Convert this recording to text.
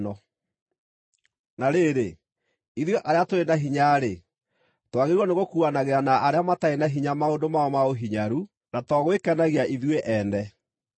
Na rĩrĩ, ithuĩ arĩa tũrĩ na hinya-rĩ, twagĩrĩirwo nĩgũkuuanagĩra na arĩa matarĩ na hinya maũndũ mao ma ũhinyaru na to gwĩkenagia ithuĩ ene.